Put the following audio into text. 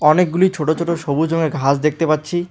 অনেকগুলো ছোট ছোট সবুজ রঙের ঘাস দেখতে পাচ্ছি।